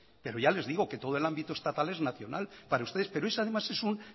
pero ya les digo que todo el ámbito estatal es nacional para ustedes pero ese además es un